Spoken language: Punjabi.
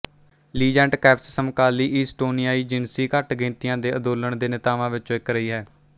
ਲੀਜ਼ੇਟ ਕੈਂਪਸ ਸਮਕਾਲੀ ਈਸਟੋਨੀਆਈ ਜਿਨਸੀ ਘੱਟ ਗਿਣਤੀਆਂ ਦੇ ਅੰਦੋਲਨ ਦੇ ਨੇਤਾਵਾਂ ਵਿਚੋਂ ਇੱਕ ਰਹੀ ਹੈ